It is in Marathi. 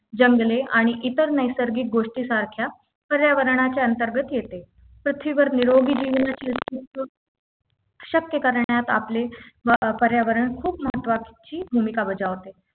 जंगले आणि इतर नैसर्गिक गोष्टी सारख्या पर्यावरणाच्या अंतर्गत येते पृथ्वीवर निरोगी जीवनाचे अस्तित्व शक्य करण्यात आपले व पर्यावरण खूप महत्त्वाची भूमिका बजावते